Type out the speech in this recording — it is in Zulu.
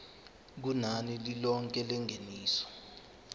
kunani lilonke lengeniso